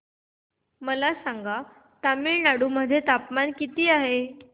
मला सांगा तमिळनाडू मध्ये तापमान किती आहे